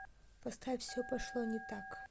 поставь все пошло не так